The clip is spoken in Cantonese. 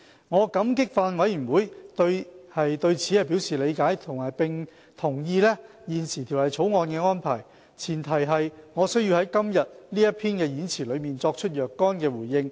我感激法案委員會對此表示理解，並同意現時《條例草案》的安排，唯前提是我需要在今天這篇演辭中作出若干回應。